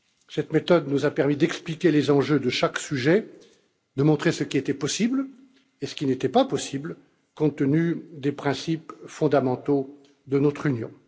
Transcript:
Cette méthode nous a permis d'expliquer les enjeux de chaque sujet, de montrer ce qui était possible et ce qui ne l'était pas compte tenu des principes fondamentaux de notre Union.